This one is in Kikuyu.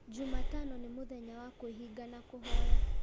Jumatano nĩ mũthenya wa kwĩhinga na kũhoya